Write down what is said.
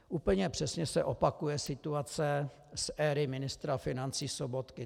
Úplně přesně se opakuje situace z éry ministra financí Sobotky.